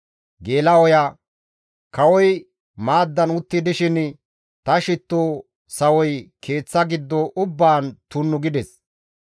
«Kawoy maaddan utti dishin ta shitto sawoy keeththa giddo ubbaan tunnu gides.